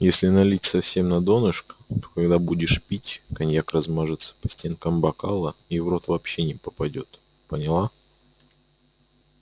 если налить совсем на донышко то когда будешь пить коньяк размажется по стенкам бокала и в рот вообще не попадёт поняла